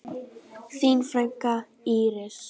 Þín frænka, Íris.